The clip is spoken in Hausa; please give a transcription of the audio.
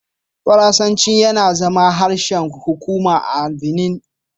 Faransanci ya zama harshen hukuma a Benin.